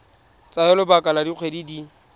tsaya lebaka la dikgwedi di